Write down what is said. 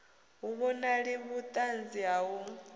hu vhonali vhuṱanzi ha u